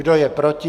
Kdo je proti?